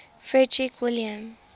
frederick william